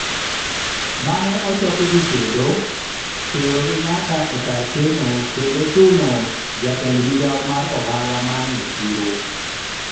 mane ochokogi kendo , terogi nyaka e kar keno kendo chuno jayend migawo mar ohala manyo chiro